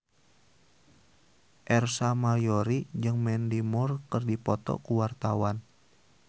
Ersa Mayori jeung Mandy Moore keur dipoto ku wartawan